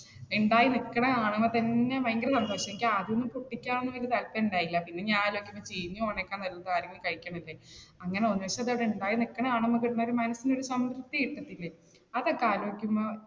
എന്തായാലും ഇത്രയും ആളുകളെ തന്നെ ഭയങ്കര സന്തോഷോയി. എനിക്ക് ആദ്യം പൊട്ടിക്കാൻ വല്യ താല്പര്യം ഉണ്ടായില്ല, പിന്നെ ഞാൻ ചീഞ്ഞ് പോണതിനെക്കാൾ നല്ലത് ആരെങ്കിലും കഴിക്കണത് അല്ലേ അങ്ങനെ ഒന്നിച്ചതവിടെ ഉണ്ടായി നിൽക്കുന്നത് കാണുമ്പോ തന്നെ മനസ്സിന് ഒരു സംതൃപ്തി കിട്ടത്തില്ലേ. അതൊക്കെ ആലോചിക്കുമ്പോ